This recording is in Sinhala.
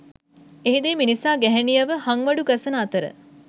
එහිදී මිනිසා ගැහැණියව හංවඩු ගසන අතර